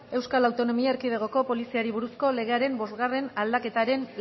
euskal autonomia erkidegoko poliziari buruzko legearen bostgarrena aldaketaren